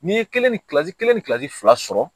N'i ye kelen ni kilasi kelen ni kilasi fila sɔrɔ